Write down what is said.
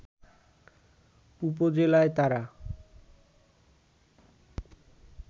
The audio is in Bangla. উপজেলায় তারা